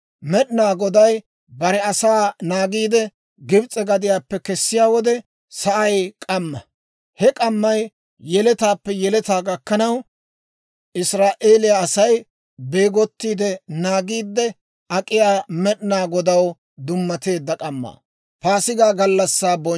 Med'inaa Goday bare asaa naagiide, Gibs'e gadiyaappe kesiyaa wode sa'ay k'amma; he k'ammay yeletaappe yeletaa gakkanaw, Israa'eeliyaa Asay beegottiide naagiidde ak'iyaa, Med'inaa Godaw dummateedda k'amma.